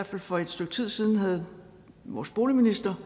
for et stykke tid siden havde vores boligminister